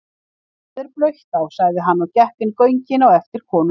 Það er blautt á, sagði hann og gekk inn göngin á eftir konunni.